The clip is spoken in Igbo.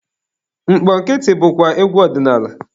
Mkpọkịtị bụkwa egwu ọdinaala.